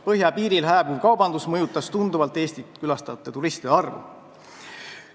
Põhjapiiril hääbuv kaubandus mõjutas tunduvalt Eestit külastavate turistide arvu.